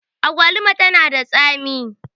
agwaluma tana da tsami